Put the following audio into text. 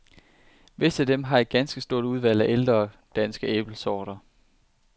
Visse af dem har et ganske stort udvalg af ældre, danske æblesorter.